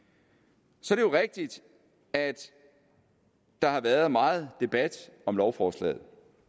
så er det jo rigtigt at der har været meget debat om lovforslaget